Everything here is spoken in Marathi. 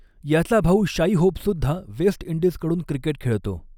याचा भाऊ शाई होपसुद्धा वेस्ट इंडीजकडून क्रिकेट खेळतो.